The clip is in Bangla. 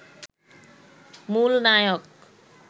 মূল নায়ক